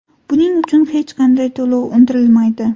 Buning uchun hech qanday to‘lov undirilmaydi.